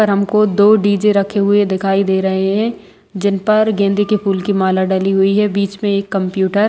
पर हमको दो डी_जे रखे दिखाई दे रहे हैं जिनपर गेंदे के फूल की एक माला डली हुई है बीच में एक कंप्यूटर --